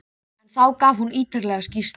En þá gaf hún ítarlega skýrslu.